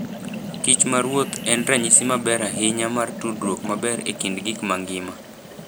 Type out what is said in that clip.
kich maruoth en ranyisi maber ahinya mar tudruok maber e kind gik mangima.